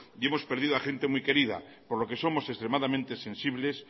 y hemos perdido a gente muy querida por lo que somos extremadamente sensibles